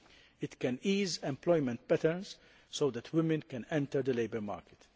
It can ease employment patterns so that women can enter the labour market.